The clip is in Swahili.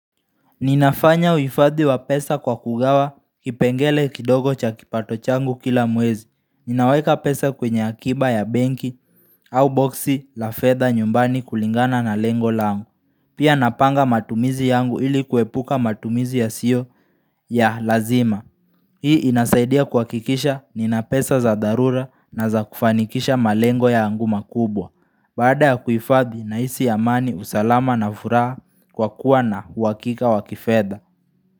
Ninafanya uhifadhi wa pesa kwa kugawa kipengele kidogo cha kipato changu kila mwezi. Ninaweka pesa kwenye akiba ya benki au boxi la fedha nyumbani kulingana na lengo la langu. Pia napanga matumizi yangu ili kuepuka matumizi yasiyo ya lazima. Hii inasaidia kuhakikisha nina pesa za darura na za kufanikisha malengo yangu makubwa. Baada ya kuhifadhi nahisi amani usalama na furaha kwa kuwa na uhakika wakifedha.